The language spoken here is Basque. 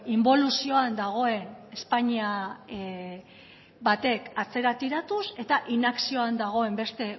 inboluzioan dagoen espainia bateak atzera tiratuz eta inakzioan dagoen beste